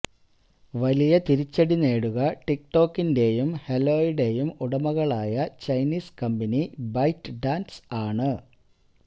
വലിയ തിരിച്ചടി നേരിടുക ടിക് ടോക്കിന്റെയും ഹെലോയുടെയും ഉടമകളായ ചൈനീസ് കമ്പനി ബൈറ്റ് ഡാന്സ് ആണ്